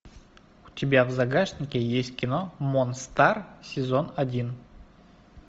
у тебя в загашнике есть кино монстар сезон один